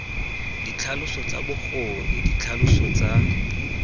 ditlhaloso tsa bokgoni ditlhaloso tsa